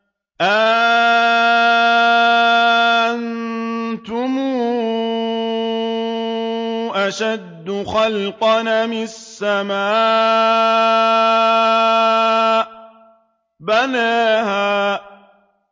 أَأَنتُمْ أَشَدُّ خَلْقًا أَمِ السَّمَاءُ ۚ بَنَاهَا